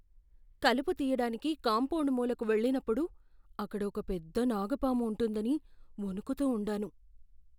కలుపు తీయడానికి కాంపౌండ్ మూలకు వెళ్ళినప్పుడు, అక్కడ ఒక పెద్ద నాగు పాము ఉంటుందని వణుకుతూ ఉండాను.